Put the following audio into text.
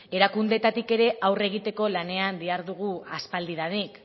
erakundeetatik ere aurre egiteko lanean dihardugu aspaldidanik